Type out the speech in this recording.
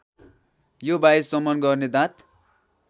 यो वायुसमन गर्ने दाँत